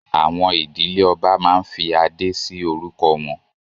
Àwọn ìdílé ọba máa ń fí adé si orúkọ wọn